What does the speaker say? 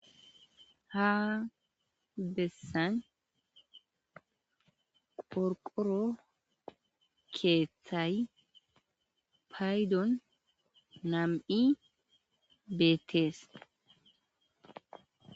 Ha besan qorqoro kethayi payidon nam7i betees